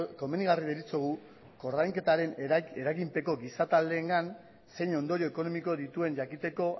komenigarri deritzogu koordainketaren eraginpeko giza taldeengan zein ondorio ekonomiko dituen jakiteko